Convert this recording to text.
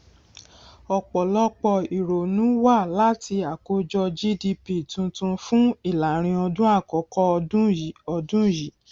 ọpọlọpọ ìrònú wá láti àkójọ gdp tuntun fún ìlàrinọdún àkọkọ ọdún yìí ọdún yìí